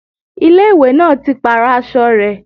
Ilé ìwé náà ti pàrọ̀ aṣọ rẹ̀